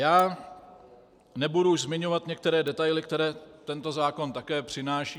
Já nebudu už zmiňovat některé detaily, které tento zákon také přináší.